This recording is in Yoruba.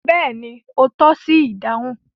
Bẹ́ẹ̀ni, o tọ́ṣi idáhùn